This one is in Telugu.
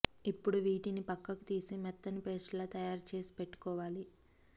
ఇప్పుడు వీటిని పక్కకు తీసి మెత్తని పేస్ట్ లా తయారు చేసి పెట్టుకోవాలి